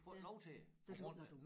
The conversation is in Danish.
Du får ikke lov til det på grund af